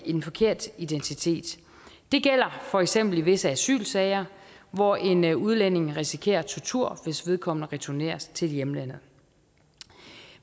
en forkert identitet det gælder for eksempel i visse asylsager hvor en en udlænding risikerer tortur hvis vedkommende returneres til hjemlandet